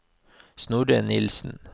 Snorre Nilsen